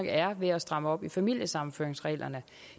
er ved at stramme op i familiesammenføringsreglerne